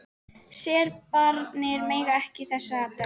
Serbarnir mega ekki eiga þessa dögg!